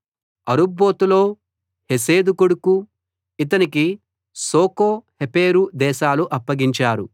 అరుబ్బోతులో హెసెదు కొడుకు ఇతనికి శోకో హెపెరు దేశాలు అప్పగించారు